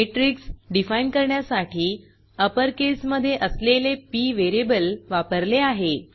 matrix define करण्यासाठी upper केसमधे असलेले पी व्हेरिएबल वापरले आहे